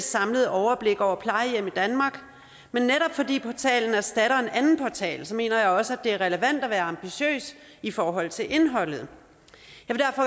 samlet overblik over plejehjem i danmark men netop fordi portalen erstatter en anden portal mener jeg også at det er relevant at være ambitiøs i forhold til indholdet